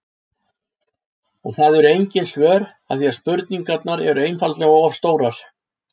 Og það eru engin svör af því að spurningarnar eru einfaldlega of stórar.